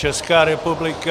Česká republika...